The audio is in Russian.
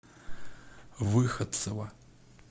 выходцева